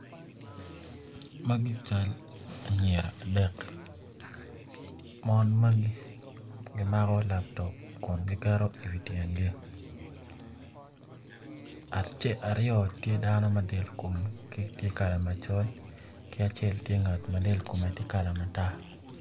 Mgi cal anyira adek mon magi gimako laptop kun giketo iwi tyengi aryo tye dano ma delkomgi tye kala macol ki acel tye ngat ma del komgi tye kala matar.